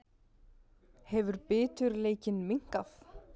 Hefur biturleikinn minnkað?